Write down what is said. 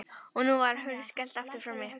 Og nú var hurð skellt aftur frammi.